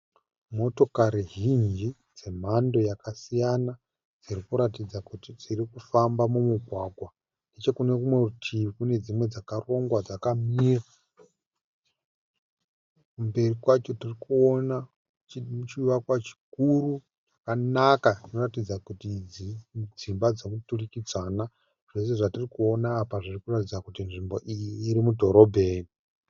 Motokari zhinji dzemhando yakasiyana dzirikuratidza kuti dzirikufamba mumugwagwa. Nechekunerimwe rutivi Kune dzimwe dzakarongwa dzakamira. Mberi kwacho tirikuona chivakwa chikuru chakanaka chinoratidza kuti dzimba dzemuturikidzana. Zvose zvatirikuona apa zvirikuratidza kuti nzvimbo iyi iri mudhorobheni.